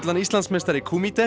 Íslandsmeistara í